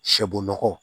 Sɛbon nɔgɔ